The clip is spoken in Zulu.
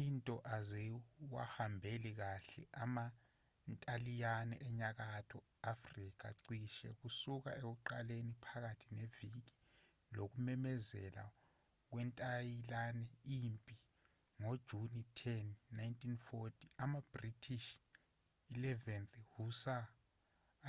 izinto aziwahambeli kahle amantaliyane enyakatho afrika cishe kusuka ekuqaleni phakathi neviki lokumemezela kwentaliyane impi ngojuni 10 1940 amabritish 11th hussar